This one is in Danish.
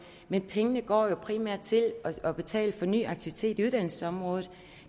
men pengene går jo primært til at betale for ny aktivitet uddannelsesområdet